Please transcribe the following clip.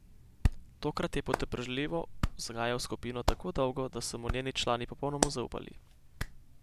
Tokrat je potrpežljivo vzgajal skupino tako dolgo, da so mu njeni člani popolnoma zaupali.